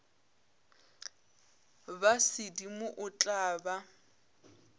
ba sedimo o tla ba